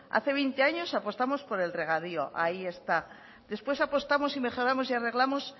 hace veinte años apostamos por el regadío ahí está después apostamos y mejoramos y arreglamos